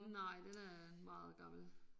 Nej den er meget gammel